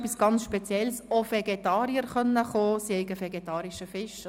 Sie hat mir gesagt, dass auch Vegetarier kommen könnten, es gebe auch vegetarischen Fisch.